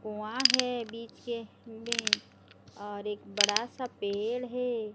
कुवां हैं बीच के में और एक बड़ा सा पेड़ हैं।